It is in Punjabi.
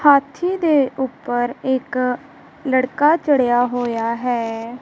ਹਾਥੀ ਦੇ ਊਪਰ ਇੱਕ ਲੜਕਾ ਚੜੇਆ ਹੋਯਾ ਹੈ।